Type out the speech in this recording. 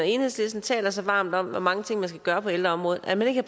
enhedslisten taler så varmt om hvor mange ting man skal gøre på ældreområdet når man ikke